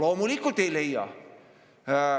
No loomulikult ei leia.